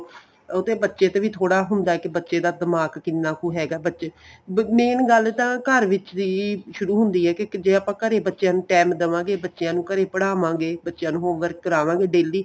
ਉਹ ਤੇ ਬੱਚੇ ਦਾ ਵੀ ਥੋੜਾ ਹੁੰਦਾ ਕੀ ਬੱਚੇ ਦਾ ਦਿਮਾਗ ਕਿੰਨਾ ਕੁ ਹੈਗਾ main ਗੱਲ ਤਾਂ ਘਰ ਵਿੱਚ ਵੀ ਸ਼ੁਰੂ ਹੁੰਦੀ ਏ ਕੀ ਜੇ ਆਪਾਂ ਘਰੇ ਈ ਬੱਚਿਆਂ ਨੂੰ time ਦੇਵਾ ਗਏ ਬੱਚਿਆਂ ਨੂੰ ਘਰੇ ਈ ਪੜ੍ਹਾਵਾਗੇ ਬੱਚਿਆਂ ਨੂੰ home work ਕਰਾਵਾਗੇ daily